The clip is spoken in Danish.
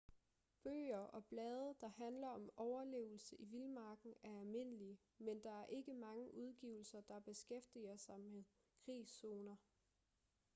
bøger og blade der handler om overlevelse i vildmarken er almindelige men der er ikke mange udgivelser der beskæftiger sig med krigszoner